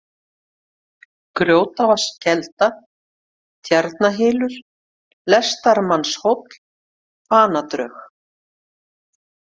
Grjótvaðskelda, Tjarnarhylur, Lestamannahóll, Banadrög